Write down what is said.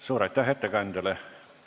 Suur aitäh ettekandjale!